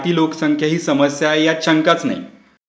लोकसंख्या ही समस्या आहे यात शंकाच नाही.